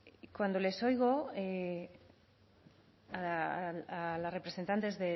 cuando les oigo a las representantes